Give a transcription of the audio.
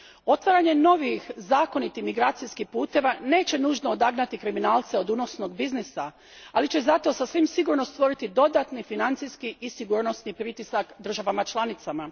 Otvaranje novih zakonitih migracijskih puteva neće nužno odagnati kriminalce od unosnog biznisa, ali će zato sasvim sigurno stvoriti dodatni financijskih i sigurnosni pritisak državama članicama.